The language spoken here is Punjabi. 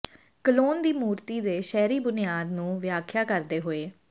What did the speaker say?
ਕਲੋਨ ਦੀ ਮੂਰਤੀ ਦੇ ਸ਼ਹਿਰੀ ਬੁਨਿਆਦ ਨੂੰ ਵਿਆਖਿਆ ਕਰਦੇ ਹੋਏ